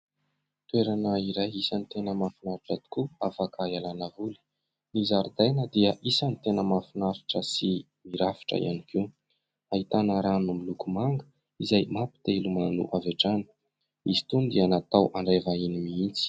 Toerana iray isan'ny tena mahafinaritra tokoa afaka hialana voly. Ny zaridaina dia isany tena mahafinaritra sy mirafitra ihany koa. Ahitana rano miloko manga izay mampite hilomano avy hatrany. Izy itony dia natao handray vahiny mihitsy.